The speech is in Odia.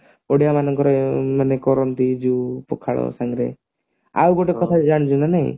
ଓଡିଆ ମାନଙ୍କର ମାନେ କରନ୍ତି ପଖାଳ ସାଙ୍ଗରେ ଆଉ ଗୋଟେବ କଥା ଜାଣିଛ ନା ନାଇଁ